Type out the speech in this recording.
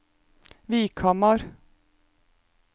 Vikhamar